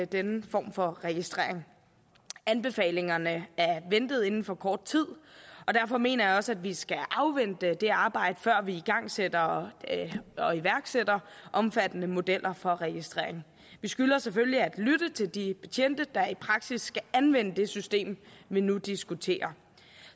denne form for registrering anbefalingerne er ventet inden for kort tid og derfor mener jeg også at vi skal afvente det arbejde før vi igangsætter og iværksætter omfattende modeller for registrering vi skylder selvfølgelig at lytte til de betjente der i praksis skal anvende det system vi nu diskuterer